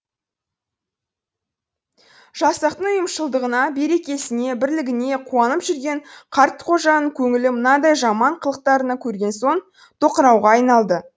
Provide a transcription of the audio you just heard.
жасақтың ұйымшылдығына берекесіне бірлігіне қуанып жүрген қартқожаның көңілі мынадай жаман қылықтарын көрген соң тоқырауға айналды